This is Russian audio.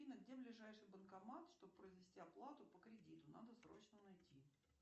афина где ближайший банкомат чтобы произвести оплату по кредиту надо срочно найти